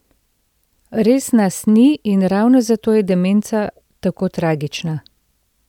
Res nas ni in ravno zato je demenca tako tragična.